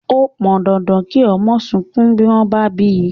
Ó pọn dandan kí ọmọ sunkún bí wón bá bíi